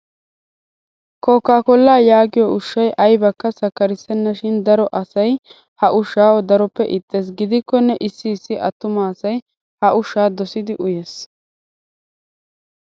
Kooka koollaa yaagiyoo ushshayi ayibakka sakkarissennashin daro asayi ha ushshaa daroppe ixxes. Gidikkonne issii issi attuma asayi ha ushshaa dosidi uyes.